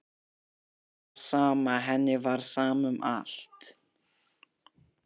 Henni var sama, henni var sama um allt.